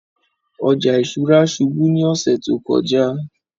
Ọjà ìṣúra ṣùbù ni ọsẹ̀ tó kọ̀jà